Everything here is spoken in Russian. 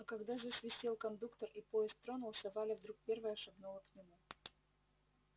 а когда засвистел кондуктор и поезд тронулся валя вдруг первая шагнула к нему